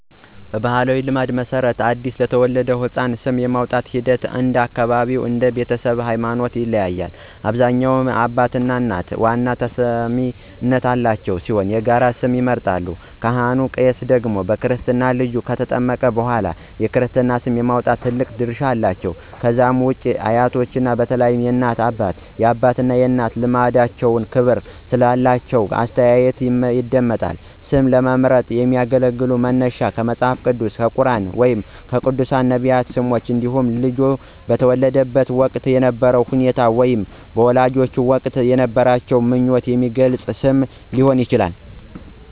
በባሕላዊ ልማድ መሠረት፣ ለአዲስ የተወለደ ሕፃን ስም የማውጣቱ ሂደት እንደ አካባቢው እና እንደ ቤተሰቡ ሃይማኖት ይለያያል። በአብዛኛው አባትና እናት ዋና ተሰሚነት ያላቸው ሲሆን የጋራ ስም ይመርጣሉ። ካህን/ቄስ ደግሞ በክርስትና ልጁ ከተጠመቀ በኋላ የክርስትና ስም የማውጣት ትልቅ ድርሻ አላቸው። ከዛ ውጪ አያቶች በተለይም የእናት አባትና የአባት እናት ልምዳቸውና ክብር ስላላቸው አስተያየታቸው ይደመጣል። ስም ለመምረጥ የሚያገለግሉ መነሻዎች ከመጽሐፍ ቅዱስ፣ ከቁርኣን ወይም ከቅዱሳን/ነቢያት ስሞች እንዲሁም ልጁ በተወለደበት ወቅት የነበረውን ሁኔታ ወይም ወላጆች በወቅቱ የነበራቸውን ምኞት የሚገልጽ ስም ሊሆን ይችላል።